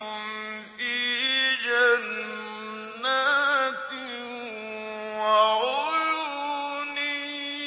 فِي جَنَّاتٍ وَعُيُونٍ